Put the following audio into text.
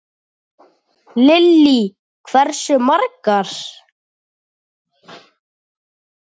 Lillý: Hversu margar?